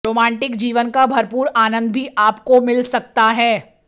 romantic जीवन का भरपूर आनंद भी आपको मिल सकता है